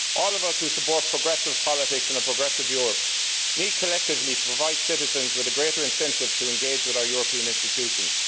All of us who support progressive politics and a progressive Europe need collectively to provide citizens with a greater incentive to engage with our European institutions.